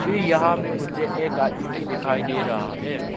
यहां में मुझे एक आदमी भी दिखाई दे रहा है।